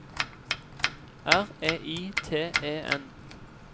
R E I T E N